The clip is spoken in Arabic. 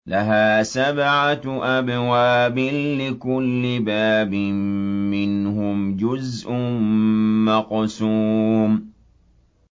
لَهَا سَبْعَةُ أَبْوَابٍ لِّكُلِّ بَابٍ مِّنْهُمْ جُزْءٌ مَّقْسُومٌ